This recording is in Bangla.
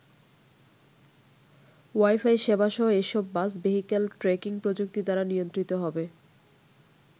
ওয়াইফাই সেবাসহ এসব বাস ভেহিক্যাল ট্র্যাকিং প্রযুক্তি দ্বারা নিয়ন্ত্রিত হবে।